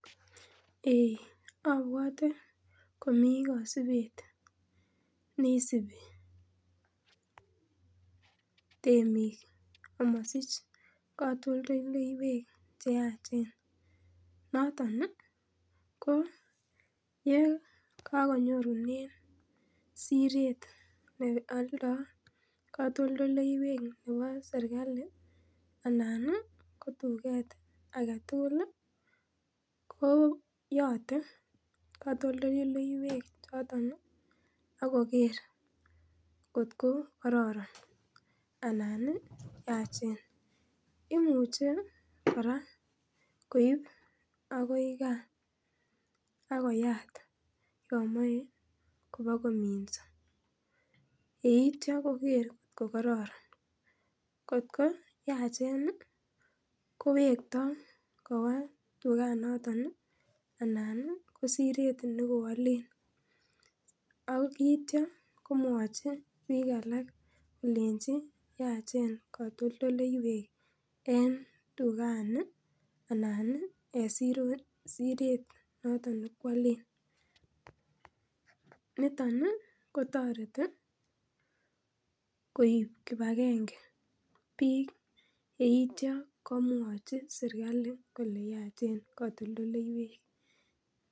Abuate komi kaimutik chenyoru temik. Amasich katoltolleywek cheyachen noton ih ye, kakonyorunen Siret nealda katoltolleywek chebo serkali anan ih tuget agetugul koyat katoltolleywek choton ih Ako ker , kot ko kararan anan yachen. Imuche kora koib agoi ka akoyat yamae kobokomiso. Yeitia koker kokaranan kot ko yachen kowekta koba tuget naton ih , anan ko Siret nekoalen akitya kolenchin yachen katoltolleywek en tuget ni anan en Siret nekoalen, niton ih kotareti koib kibagenge bik yeitia komwachi serkali kolenchin yachen katoltolleywek.